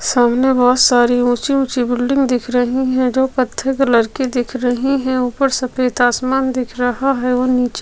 सामने बहुत सारी ऊँची-ऊँची बिल्डिंग दिखा रही है जो कत्थे कलर की दिख रही है ऊपर सफ़ेद आसमान दिख रहा है और नीचे--